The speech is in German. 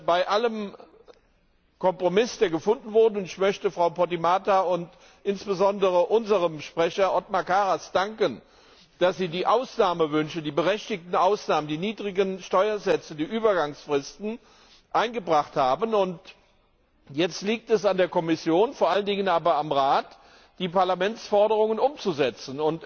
Bei allem Kompromiss, der gefunden wurde und ich möchte Frau Podimata und insbesondere unserem Sprecher Othmar Karas danken, dass sie die Ausnahmewünsche, die berechtigten Ausnahmen, die niedrigen Steuersätze, die Übergangsfristen eingebracht haben liegt es jetzt an der Kommission, vor allen Dingen aber am Rat, die Parlamentsforderungen umzusetzen.